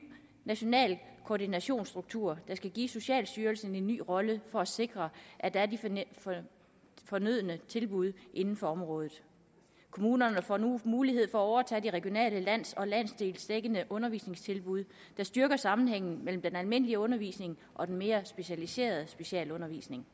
national koordinationsstruktur der skal give socialstyrelsen en ny rolle for at sikre at der er de fornødne tilbud inden for området kommunerne får mulighed for at overtage de regionale og landsdelsdækkende undervisningstilbud der styrker sammenhængen mellem den almindelige undervisning og den mere specialiserede specialundervisning